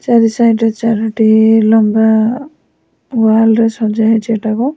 ଚାରି ସାଇଡ଼୍ ରେ ଚାରୋଟି ଲମ୍ବା ୱାଲ୍ ରେ ସଜା ହେଇଚି ଏଟାକୁ।